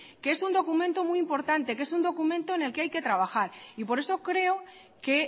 que es un documento muy importante que es un documento en el que hay que trabajar y por eso creo que